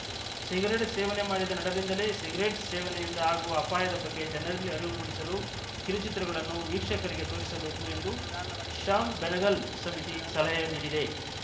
cigarette ಸೇವನೆ ಮಾಡಿದ ನಟರಿಂದಲೇ ಸಿಗರೆಟ್‌ ಸೇವನೆಯಿಂದ ಆಗುವ ಅಪಾಯದ ಬಗ್ಗೆ ಜನರಲ್ಲಿ ಅರಿವು ಮೂಡಿಸಲು ಕಿರುಚಿತ್ರಗಳನ್ನು ವೀಕ್ಷಕರಿಗೆ ತೋರಿಸಬೇಕು ಎಂದು ಶ್ಯಾಮ್‌ ಬೆನಗಲ್‌ ಸಮಿತಿ ಸಲಹೆ ನೀಡಿದೆ